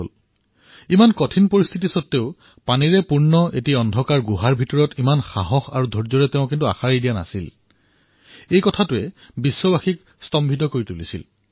সমগ্ৰ বিশ্ব এইটো কথাতেই আশ্বৰ্যাম্বিত হল যে এই কঠিন পৰিস্থিতিৰ পিছতো পানীৰ ভৰা এটা অন্ধকাৰ গুহাত ইমান সাহস আৰু ধৈৰ্যৰ সৈতে তেওঁলোকে আশা নেহেৰুৱালে